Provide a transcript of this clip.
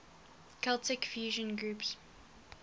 celtic fusion groups